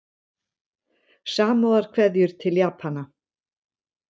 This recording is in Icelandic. Samúðarkveðjur til Japana